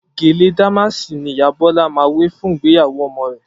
Gèlè dàmáàsì ni ìyá Bọ́lá máa wé fún ìgbéyàwó ọmọ rẹ̀